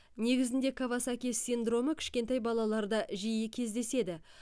негізінде кавасаки синдромы кішкентай балаларда жиі кездеседі